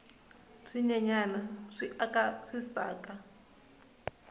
swinyenyani swi aka swisaka